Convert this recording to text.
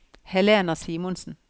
Helena Simonsen